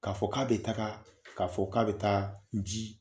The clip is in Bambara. K'a fɔ k'a bɛ taga k'a fɔ k'a bɛ taa ji